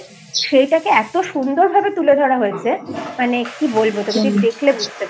সেটাকে এতো সুন্দর ভাবে তুলে ধরা হয়েছে মানে কি বলবো তোকে দেখলে বুঝতে পারবি